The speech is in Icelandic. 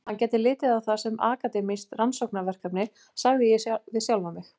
Hann gæti litið á það sem akademískt rannsóknarverkefni, sagði ég við sjálfan mig.